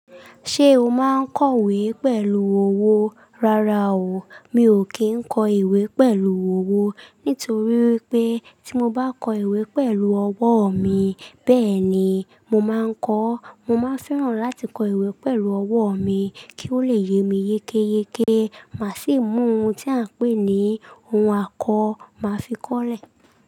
Ṣé o máa ń kọ ìwé pẹ̀lú ọwọ́? Rárá o, mi ò kí ń kọ ìwé pẹ̀lú ọwọ́ nítorí wipé tí mo bá kọ ìwé pẹ̀lú ọwọ́ mi, bẹ́ẹ̀ni mo máa ń kọ́. Mo máa n fẹ́ràn láti kọ ìwé pẹ̀lú ọwọ́ mi kí ó lè yé mi yékéyéké, màá sì mú ohun tí à ń pè ní ohun àkọ máa fi kọ́lẹ̀.